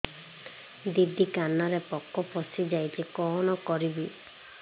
ଦିଦି କାନରେ ପୋକ ପଶିଯାଇଛି କଣ କରିଵି